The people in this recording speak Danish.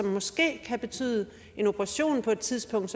måske betyde en operation på et tidspunkt